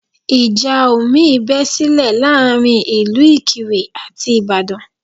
Ìjà omi bé sílẹ̀ láàrin ìlú Ìkirè àti Ìbàdàn